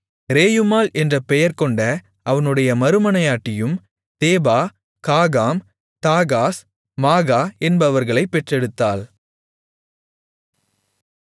Reumah என்று பெயர்கொண்ட அவனுடைய மறுமனையாட்டியும் தேபா காகாம் தாகாஸ் மாகா என்பவர்களைப் பெற்றெடுத்தாள்